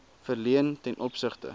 verleen ten opsigte